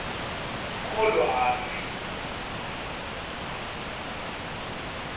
kholwane